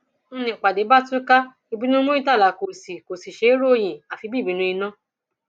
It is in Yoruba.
n nípàdé bá túká ìbínú muritàlá kó sì kó sì ṣeé ròyìn àfi bí ìbínú iná